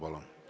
Palun!